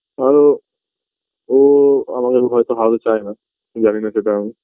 আরো ওও আমাকে হয়তো হারাতে চায়না জানিনা সেটা আমি